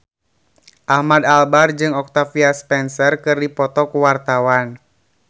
Ahmad Albar jeung Octavia Spencer keur dipoto ku wartawan